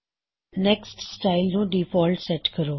next style ਨੂੰ default set ਕਰੋ